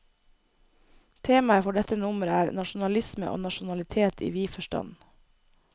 Temaet for dette nummer er, nasjonalisme og nasjonalitet i vid forstand.